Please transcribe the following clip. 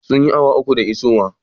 Sun yi awa uku da isowa?